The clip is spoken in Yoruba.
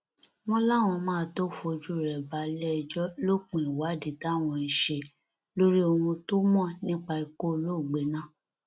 wọn láwọn máa tóó fojú rẹ balẹẹjọ lópin ìwádìí táwọn ń ṣe lórí ohun tó mọ nípa ikú olóògbé náà